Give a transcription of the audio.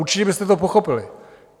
Určitě byste to pochopili.